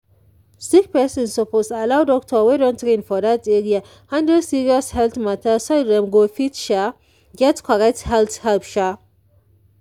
sick person suppose allow doctor wey don train for that area handle serious health matter so dem go fit sha get correct health help sha